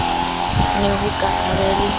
ne ho ka ba le